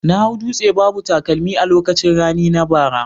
Na hau dutse babu takalmi a lokacin rani na bara